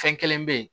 Fɛn kelen bɛ ye